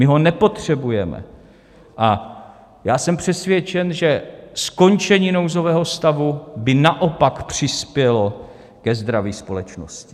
My ho nepotřebujeme a já jsem přesvědčen, že skončení nouzového stavu by naopak přispělo ke zdraví společnosti.